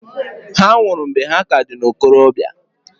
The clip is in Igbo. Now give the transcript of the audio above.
Ha nwụrụ mgbe ha ka dị n'okorobia.